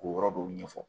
K'o yɔrɔ dɔw ɲɛfɔ